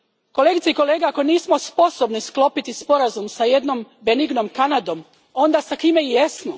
Kolegice i kolege, ako nismo sposobni sklopiti sporazum s jednom benignom Kanadom, onda s kim jesmo?